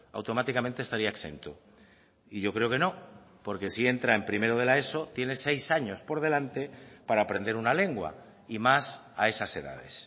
automáticamente estaría exento y yo creo que no porque si entra en primero de la eso tiene seis años por delante para aprender una lengua y más a esas edades